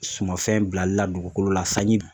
Sumafɛn bilali la dugukolo la sanji